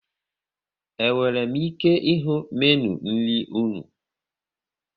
E nwere m ike ịhụ Meenụ nri unu?